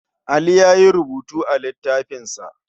Ali ya yi rubutu a littafinsa.